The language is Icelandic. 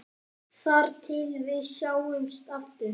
Þar til við sjáumst aftur.